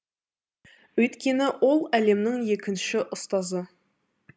өйткені ол әлемнің екінші ұстазы